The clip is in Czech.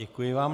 Děkuji vám.